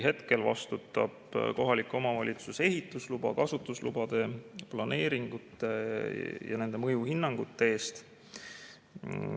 Hetkel vastutab kohalik omavalitsus ehituslubade, kasutuslubade, planeeringute ja nende mõjuhinnangute eest.